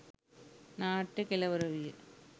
නාට්‍යය කෙළවර විය